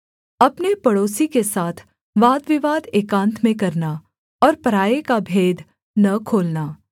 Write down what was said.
अपने पड़ोसी के साथ वादविवाद एकान्त में करना और पराए का भेद न खोलना